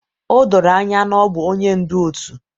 O doro anya na ọ bụ onye ndu òtù